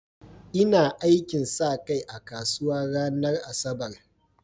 Ina aikin sa kai a kasuwa ranar Asabar.